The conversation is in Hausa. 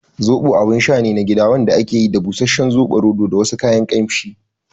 Zoɓo abun sha ne na gida wanda ake yi daga busasshen soɓoroto da wasu kayan kamshi